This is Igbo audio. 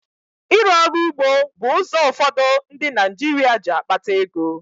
Ịrụ ọrụ ugbo bụ ụzọ ụfọdụ ndị Naịjirịa ji akpata ego.